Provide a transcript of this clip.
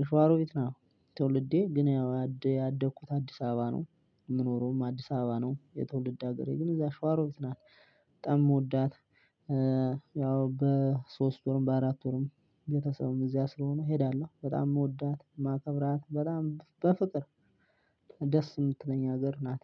የሻዋሮ ቤት ነው። ትውልዴ ግን ያው ያደኩት አዲስ አበባ ነው። የምኖረውም አዲስ አበባ ነው የትውልድ ሀገሬ ግን እዛ ሽዋሮት ናት። በጣም የምወዳት። ያው በሶስት ወርም በአራት ወርም ቤተሰብም እዚያ ስለሆኑ እሄዳለሁ በጣም ምወዳት ማከብራት በጣም በፍቅር። ደስ የምትለኝ ሀገር ናት